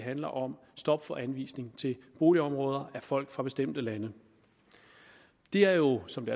handler om stop for anvisning til boligområder af folk fra bestemte lande det er jo som det